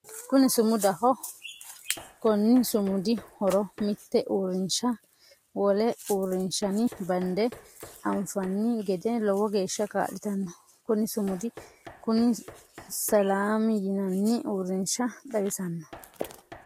Kunni sumudaho konni sumudi horosi mite uurinsha wole uurinshanni bande anfanni gede lowo geesha kaa'litano. Kunni sumidu kunni Selam yinnanni uurinsha xawisanno.